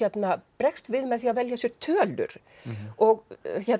bregst við með því að velja sér tölur og